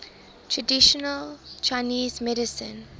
traditional chinese medicine